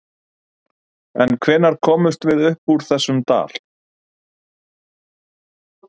En hvenær komumst við upp úr þessum dal?